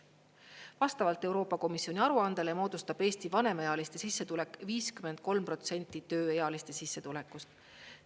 Vastavalt Euroopa Komisjoni aruandele moodustab Eesti vanemaealiste sissetulek 53% tööealiste sissetulekust.